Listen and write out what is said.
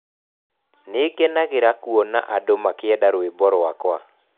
"Nĩ ngenagĩra kuona andũ makĩenda rwĩmbo rwakwa.